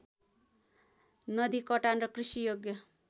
नदीकटान र कृषि योग्य